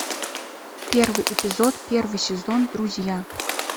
первый эпизод первый сезон друзья